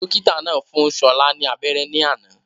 Dókítà náà fún Ṣọlá ni abéré ní àná